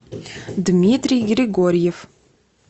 дмитрий григорьев